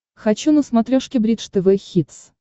хочу на смотрешке бридж тв хитс